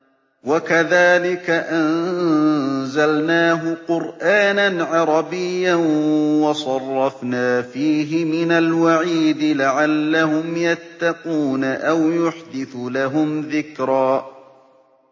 وَكَذَٰلِكَ أَنزَلْنَاهُ قُرْآنًا عَرَبِيًّا وَصَرَّفْنَا فِيهِ مِنَ الْوَعِيدِ لَعَلَّهُمْ يَتَّقُونَ أَوْ يُحْدِثُ لَهُمْ ذِكْرًا